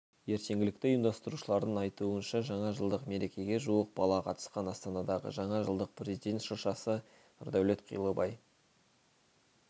ертеңгілікті ұйымдастырушылардың айтуынша жаңа жылдық мерекеге жуық бала қатысқан астанадағы жаңа жылдық президент шыршасы нұрдәулет қилыбай